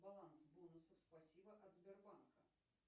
баланс бонусов спасибо от сбербанка